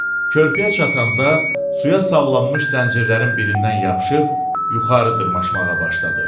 Körpüyə çatanda suya sallanmış zəncirlərin birindən yapışıb yuxarı dırmaşmağa başladı.